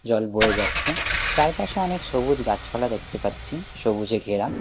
জল বয়ে যাচ্ছে চারপাশে অনেক সবুজ গাছপালা দেখতে পাচ্ছি সবুজে ঘেরা--